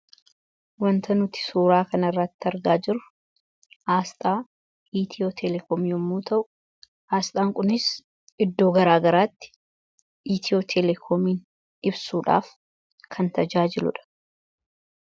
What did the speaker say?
Waanta nuti suuraa kanarratti argaa jirru Asxaa Itiyoo-telekoom yommuu ta'u, asxaan kunis iddoo garaa garaatti Itiyoo-telekoomiin ibsuudhaaf kan tajaajiludha.